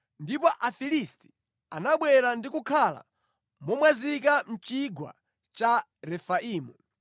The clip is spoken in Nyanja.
Ndipo Afilisti anabwera ndi kukhala momwazika mʼChigwa cha Refaimu.